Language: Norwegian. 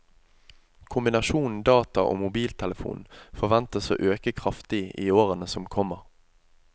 Kombinasjonen data og mobiltelefon forventes å øke kraftig i årene som kommer.